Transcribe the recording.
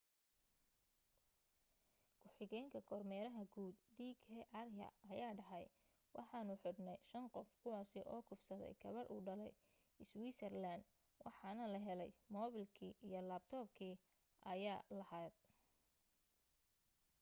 ku xigeenka kormeeraha guud d k arya ayaa dhahay waxaanu xidhnay shan qof kuwaasi oo kufsaday gabadh u dhalay iswiisarlaaan waxaana la helay mobeelkii iyo labtopkii aya lahayd